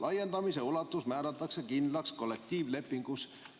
Laiendamise ulatus määratakse kindlaks kollektiivlepingus.